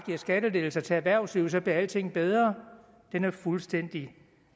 skattelettelser til erhvervslivet bliver alting bedre er fuldstændig